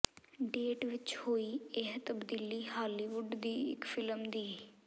date ਵਿੱਚ ਹੋਈ ਇਹ ਤਬਦੀਲੀ ਹਾਲੀਵੁਡ ਦੀ ਇੱਕ ਫਿਲਮ ਦੀ